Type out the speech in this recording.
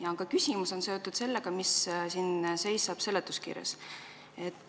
Aga minu küsimus on seotud seletuskirjaga.